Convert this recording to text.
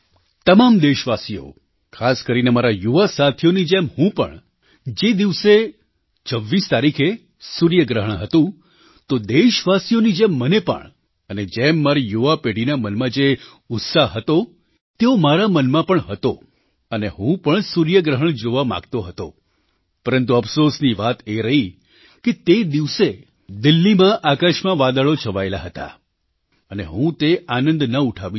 તમામ દેશવાસીઓ ખાસ કરીને મારા યુવા સાથીઓની જેમ હું પણ જે દિવસે 26 તારીખે સૂર્યગ્રહણ હતું તો દેશવાસીઓની જેમ મને પણ અને જેમ મારી યુવાપેઢીના મનમાં જે ઉત્સાહ હતો તેવો મારા મનમાં પણ હતો અને હું પણ સૂર્યગ્રહણ જોવા માગતો હતો પરંતુ અફસોસની વાત એ રહી કે તે દિવસે કે દિલ્હીમાં આકાશમાં વાદળો છવાયેલાં હતાં અને હું તે આનંદ ન ઉઠાવી શક્યો